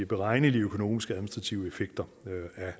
beregnelige økonomiske administrative effekter